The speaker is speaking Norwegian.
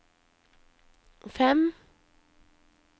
fem